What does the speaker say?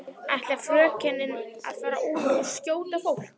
Ætlar frökenin að fara út og skjóta fólk?